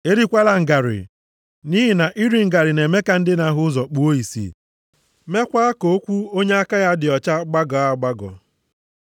“Erikwala ngarị, nʼihi na iri ngarị na-eme ka ndị na-ahụ ụzọ kpuo ìsì, meekwa ka okwu onye aka ya dị ọcha gbagọọ agbagọ.